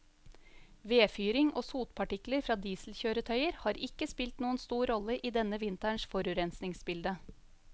Vedfyring og sotpartikler fra dieselkjøretøyer har ikke spilt noen stor rolle i denne vinterens forurensningsbilde.